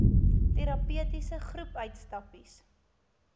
terapeutiese groep uitstappies